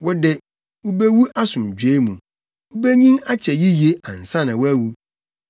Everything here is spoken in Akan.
Wo de, wubewu asomdwoe mu. Wubenyin akyɛ yiye ansa na woawu.